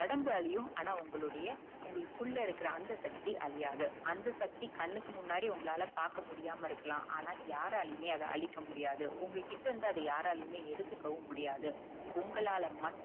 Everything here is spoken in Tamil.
ஒடம்பாளையும் ஆண உங்களுடைய உங்களுக்குள்ள அந்த சக்தி அழியாது அந்த சக்தி கண்ணுக்கு முன்னாடி உங்களால பாக்கமுடியாம இருக்கலாம் ஆண யாராலையுமே அத அழிக்க முடியாது உங்க கிட்ட இருந்து அத யாராலையுமே எடுத்துக்க முடியாது உங்களால மட்டும்